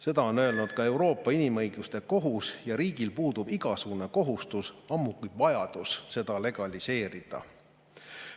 Seda on öelnud ka Euroopa Inimõiguste Kohus ja riigil puudub igasugune kohustus, ammugi vajadus seda legaliseerida.